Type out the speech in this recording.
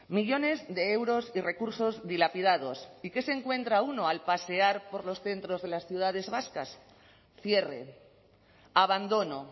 millones de euros y recursos dilapidados y qué se encuentra uno al pasear por los centros de las ciudades vascas cierre abandono